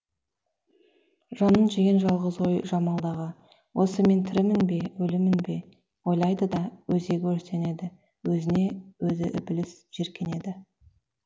жанын жеген жалғыз ой жамалдағы осы мен тірімін бе өлімін бе ойлайды да өзегі өртенеді өзіне өзі ібіліс жеркенеді